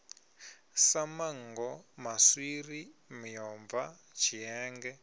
sa manngo maswiri miomva tshienge